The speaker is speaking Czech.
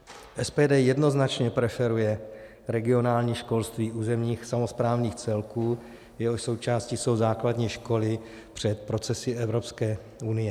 SPD jednoznačně preferuje regionální školství územních samosprávných celků, jehož součástí jsou základní školy, před procesy Evropské unie.